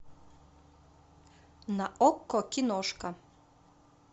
на окко киношка